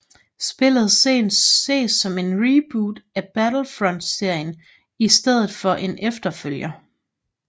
Spillet ses som en reboot af Battlefrontserien i stedet for en efterfølger